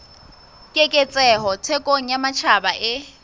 keketseho thekong ya matjhaba e